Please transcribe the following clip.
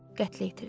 Qətl itirilib.